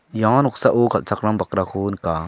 ia noksao kal·chakram bakrako nika.